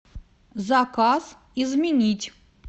заказ изменить